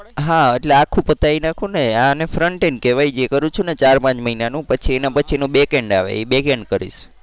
હા એટલે આખું પતાઈ નાખું ને આને frontend કેવાય જે કરું છું ને ચાર પાંચ મહિનાનો પછી એના પછીનો backend આવે એ backend કરીશ.